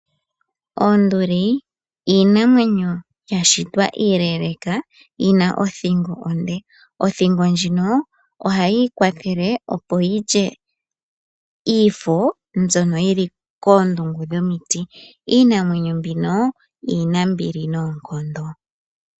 Oonduli iinamwenyo iile yina othingo onde opo yilye omafo ngono geli kondungu yomiti iinamwenyo mbino iinambili noonkondo.